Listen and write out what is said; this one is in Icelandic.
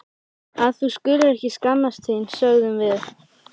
Að þú skulir ekki skammast þín, sögðum við.